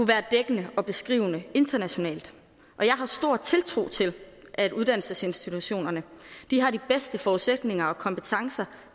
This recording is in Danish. være dækkende og beskrivende internationalt og jeg har stor tiltro til at uddannelsesinstitutionerne har de bedste forudsætninger for og kompetencer